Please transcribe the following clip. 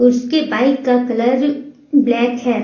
उसके बाइक का colour black है।